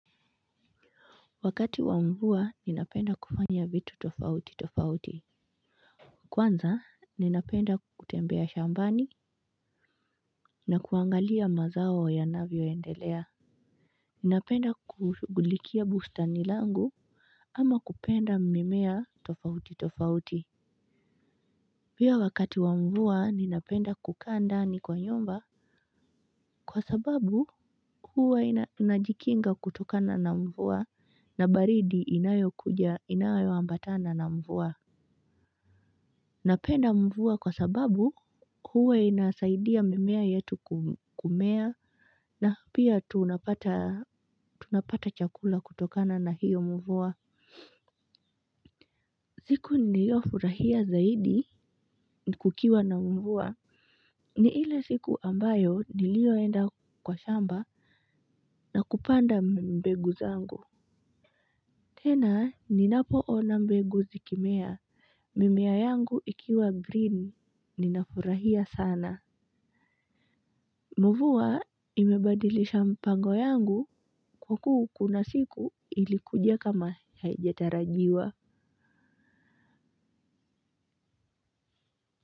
Wakati wa mvua ninapenda kufanya vitu tofauti tofauti. Kwanza ninapenda kutembea shambani na kuangalia mazao yanavyo endelea. Ninapenda kushughulikia bustani langu ama kupenda mimea tofauti tofauti pia wakati wa mvua ninapenda kukaa ndani kwa nyumba kwa sababu huwa inajikinga kutokana na mvua na baridi inayo kuja inayo ambatana na mvua. Napenda mvua kwa sababu huwa inasaidia mimea yetu kumea na pia tunapata chakula kutokana na hiyo mvua. Siku niliyo furahia zaidi ni kukiwa na mvua. Ni ile siku ambayo niliyoenda kwa shamba na kupanda mbegu zangu tena ninapoona mbegu zikimea mimea yangu ikiwa green ninafurahia sana. Mvua imebadilisha mpango yangu huku kuna siku ilikuja kama haijatarajiwa.